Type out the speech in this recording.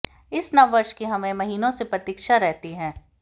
इस नव वर्ष की हमें महीनों से प्रतीक्षा रहती है